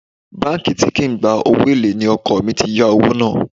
Báńkì tí kì í gba owó èlé ni ọkọ̀ mi ti yá owó náà